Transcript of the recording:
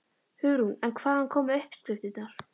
Hugrún: En hvaðan koma uppskriftirnar?